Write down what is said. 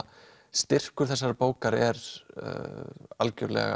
styrkur þessarar bókar er algjörlega